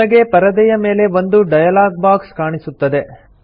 ನಿಮಗೆ ಪರದೆಯ ಮೇಲೆ ಒಂದು ಡಯಲಾಗ್ ಬಾಕ್ಸ್ ಕಾಣಸಿಗುತ್ತದೆ